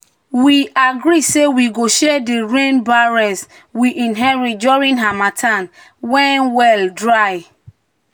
"we agree say we go share di rain barrels we inherit during harmattan when well dry."